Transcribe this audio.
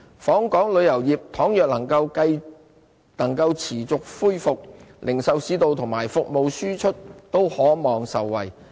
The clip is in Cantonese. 訪港旅遊業倘若能夠持續恢復，零售市道及服務輸出都可望受惠。